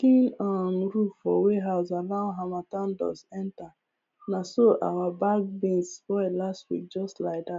leaking um roof for warehouse allow harmattan dust enterna so our bagged beans spoil last week just like that